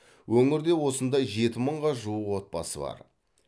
өңірде осындай жеті мыңға жуық отбасы бар